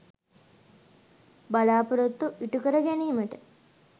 බලාපොරොත්තු ඉටු කර ගැනිමට